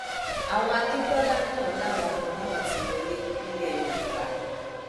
àwọn akíntola náà làwọn kan náà ti wọlé nílẹ yorùbá